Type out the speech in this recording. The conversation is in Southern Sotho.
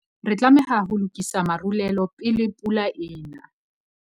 Re tlameha ho lokisa marulelo pele pula e ena.